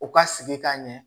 U ka sigi ka ɲɛ